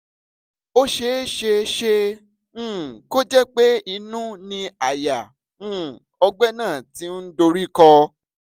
ó ṣeé ṣe um kó jẹ́ pé inú ni àyà um ọ̀gbẹ́ náà ti ń dorí kọ́